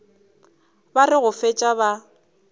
ba re go fetša ba